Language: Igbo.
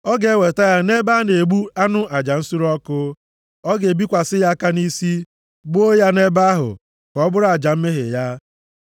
Ọ ga-eweta ya nʼebe a na-egbu anụ aja nsure ọkụ. Ọ ga-ebikwasị ya aka nʼisi, gbuo ya nʼebe ahụ, ka ọ bụrụ aja mmehie ya.